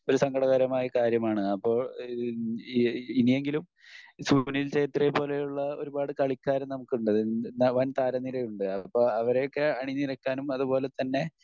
ഒരു സങ്കടകരമായ കാര്യമാണ്. അപ്പൊ ഈഹ് ഈ ഇനിയെകിലും സുനിൽ ഛേത്രിയെ പോലെയുള്ള ഒരുപാട് കളിക്കാർ നമുക്കുണ്ട്. വൻ താര നിരയുണ്ട് അപ്പൊ അവരെയൊക്കെ അണിനിരക്കാനും അതുപോലെതന്നെ